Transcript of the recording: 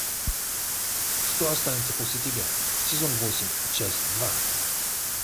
что останется после тебя сезон восемь часть два